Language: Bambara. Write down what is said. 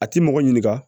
A ti mɔgɔ ɲininka